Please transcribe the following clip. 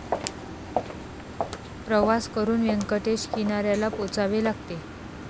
प्रवास करून व्यंकटेश किनाऱ्याला पोचावे लागते.